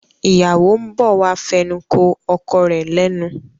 ìyáwó ń bọ̀ wá fẹnukò ọkọ rẹ̀ lẹ́nu.